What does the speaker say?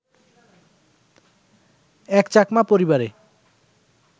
এক চাকমা পরিবারে